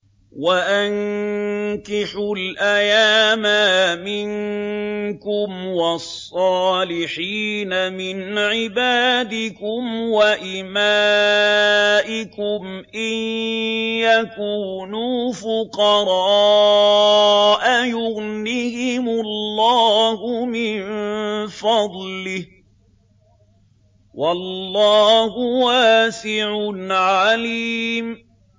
وَأَنكِحُوا الْأَيَامَىٰ مِنكُمْ وَالصَّالِحِينَ مِنْ عِبَادِكُمْ وَإِمَائِكُمْ ۚ إِن يَكُونُوا فُقَرَاءَ يُغْنِهِمُ اللَّهُ مِن فَضْلِهِ ۗ وَاللَّهُ وَاسِعٌ عَلِيمٌ